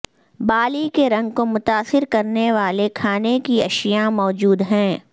بالی کے رنگ کو متاثر کرنے والے کھانے کی اشیاء موجود ہیں